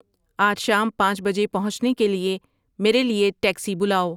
آج شام پانچ بجے پہنچنے کے لیے میرے لیے ٹیکسی بلاؤ